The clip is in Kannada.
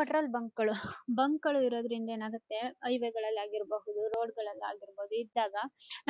ಪೆಟ್ರೋಲ್ ಬಂಕ್ ಗಳು ಬಂಕ್ ಗಳೂ ಇರೋದ್ರಿಂದ ಏನಾಗುತ್ತೆ ಹೈವೇ ಗಳಲ್ಲಿ ಆಗಿರಬಹುದು ರೋಡ್ ಗಳಲ್ಲಿ ಆಗಿರಬಹುದು ಇದ್ದಾಗ